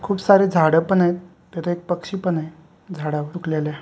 खूप सार झाड पण आहेत तिथे एक पक्षी पण आहे झाडावर फुटलेल्या --